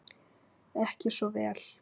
Ekki svo vel?